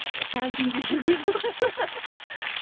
карантинге үлгермей қалдық